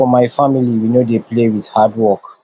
for my family we no dey play with hard work